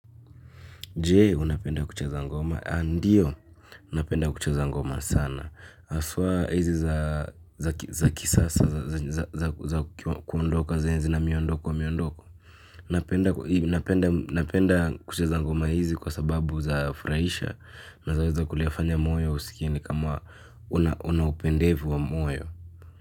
Jee, unapenda kucheza ngoma. Andiyo, napenda kuche za ngoma sana. Aswa hizi za kisasa, za kuondoka, za enzina miondoko wa miondoko. Unapenda kucha za ngoma hizi kwa sababu za furaisha. Naeza weza kulifanya moyo usikie ni kama una upendevu wa moyo.